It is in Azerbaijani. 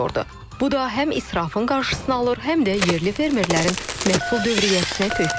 Bu da həm israfın qarşısını alır, həm də yerli fermerlərin məhsul dövriyyəsinə töhfə verir.